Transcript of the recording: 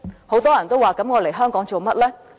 很多人問來港是為了甚麼？